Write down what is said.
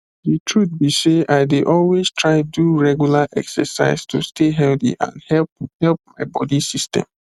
the truth be sey i dey always try do regular exercise to stay healthy and help help my body system